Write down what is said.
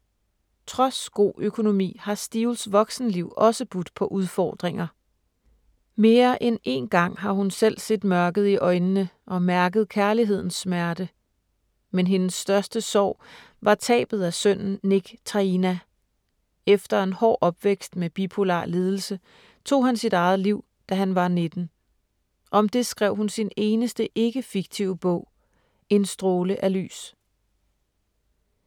Trods god økonomi har Steels voksenliv også budt på udfordringer. Mere end en gang har hun selv set mørket i øjnene og mærket kærlighedens smerte. Men hendes største sorg var tabet af sønnen Nick Traina. Efter en hård opvækst med bipolar lidelse, tog han sit eget liv, da han var 19. Om det skrev hun sin eneste ikke-fiktive bog: En stråle af lys.